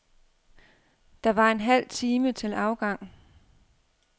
Der var en halv time til afgang.